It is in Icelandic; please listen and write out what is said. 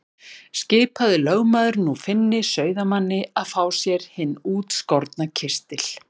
Skipaði lögmaður nú Finni sauðamanni að fá sér hinn útskorna kistil.